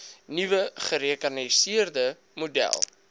nuwe gerekenariseerde model